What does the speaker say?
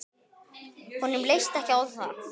Honum leist ekki á það.